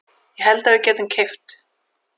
Ég held að við getum keypt.